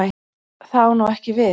Það á ekki við nú.